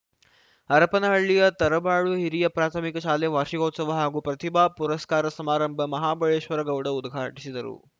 ಹರಪನಹಳ್ಳಿಯ ತರಳಬಾಳು ಹಿರಿಯ ಪ್ರಾಥಮಿಕ ಶಾಲೆ ವಾರ್ಷಿಕೋತ್ಸವ ಹಾಗೂ ಪ್ರತಿಭಾ ಪುರಸ್ಕಾರ ಸಮಾರಂಭ ಮಹಾಬಳೇಶ್ವರಗೌಡ ಉದ್ಘಾಟಿಸಿದರು